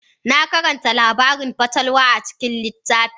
Na karanta labarin fatalwa a cikin littafi.